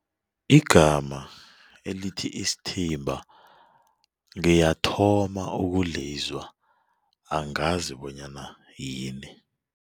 Igama elithi isithimba ngiyathoma ukulizwa angazi bonyana yini.